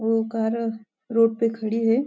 वो car road पे खड़ी है।